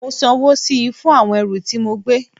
Mo sanwó síi fún àwọn ẹrù tí mo gbé